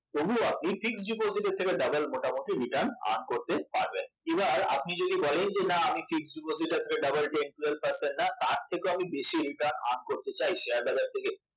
তবুও আপনি fixed deposit এর থেকে ডাবল মোটামুটি return earn করতে পারবেন এবার আপনি যদি বলেন যে না আমি fixed deposit এর doubleten twelve percent না তার থেকেও বেশি return earn করতে চাই শেয়ার বাজার থেকে